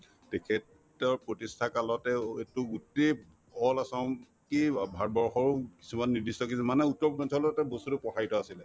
তেখেতৰ প্ৰতিষ্ঠা কালতেও এইটো গোটেই all assam অ ভাৰতবৰ্ষৰো কিছুমান নিৰ্দ্দিষ্ট কিছুমানে বস্তুতো প্ৰসাৰীত আছিলে